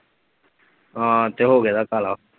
ਹਾਂ ਤੇ ਹੋਗੇ ਦਾ ਕਾਲਾ।